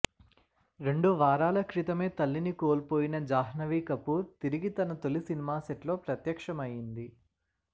రెండు వారాల క్రితమే తల్లిని కోల్పోయిన జాహ్నవి కపూర్ తిరిగి తన తొలి సినిమా సెట్స్లో ప్రత్యక్షమైంది